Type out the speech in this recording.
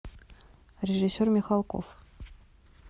режиссер михалков